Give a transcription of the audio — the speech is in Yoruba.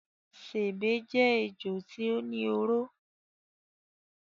Sèbé jé ejò tí ó ní oró.